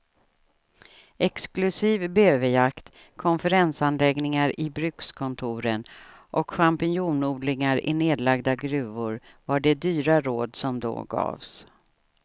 Exklusiv bäverjakt, konferensanläggningar i brukskontoren och champinjonodlingar i nedlagda gruvor var de dyra råd som då gavs.